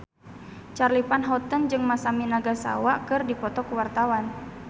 Charly Van Houten jeung Masami Nagasawa keur dipoto ku wartawan